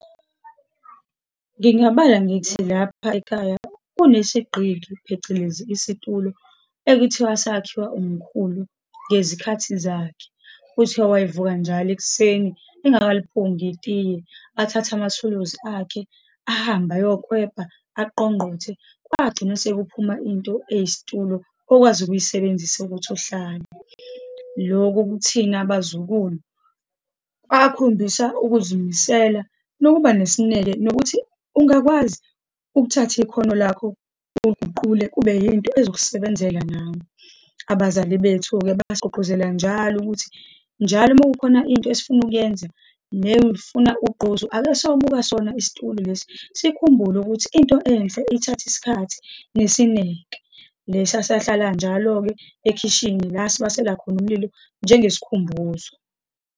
Ngingabala ngithi lapha ekhaya kunesigqiki, phecelezi isitulo, ekuthiwa sakhiwa umkhulu ngezikhathi zakhe. Kuthiwa wayevuka njalo ekuseni engakaliphungi itiye, athathe amathuluzi akhe, ahambe ayeklwebha, aqongqothe, kwagcina sekuphuma into eyisitulo okwazi ukuyisebenzisa ukuthi uhlale. Loku kuthina abazukulu kwakhombisa ukuzimisela nokuba nesineke, nokuthi ungakwazi ukuthatha ikhono lakho oliguqule kube yinto ezokusebenzela nawe. Abazali bethu-ke, basigqugquzela njalo ukuthi njalo uma kukhona into esifuna ukuyenza ney'funa ugqozi, ake siyobuka sona isitulo lesi, sikhumbule ukuthi into enhle ithatha isikhathi nesineke. Lesa sahlala njalo-ke ekhishini la sibasela khona umlilo. njengesikhumbuzo.